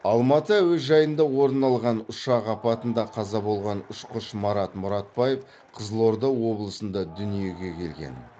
алматы әуежайында орын алған ұшақ апатында қаза болған ұшқыш марат мұратбаев қызылорда облысында дүниеге келген